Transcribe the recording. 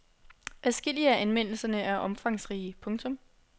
Adskillige af anmeldelserne er omfangsrige. punktum